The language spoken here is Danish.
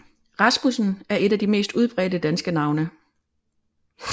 Rasmussen er et af de mest udbredte danske efternavne